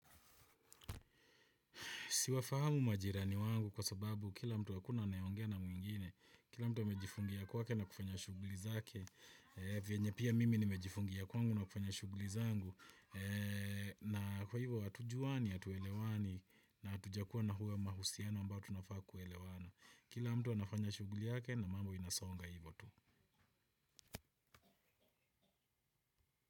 Siwa fahamu majirani wangu kwa sababu kila mtu hakuna anayeongea na mwingine, kila mtu amejifungia kwa ke na kufanya shuguli zake, vienye pia mimi nimejifungia kwa ngu na kufanya shuguli zangu, na kwa hivyo hatujuwani hatuelewani na hatujakua na huwe mahusiano ambao tunafaa kuelewana. Kila mtu anafanya shuguli yake na mambo inasonga hivyo tu.